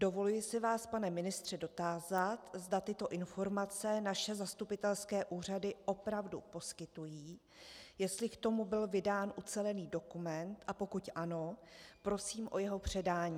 Dovoluji se vás, pane ministře, dotázat, zda tyto informace naše zastupitelské úřady opravdu poskytují, jestli k tomu byl vydán ucelený dokument, a pokud ano, prosím o jeho předání.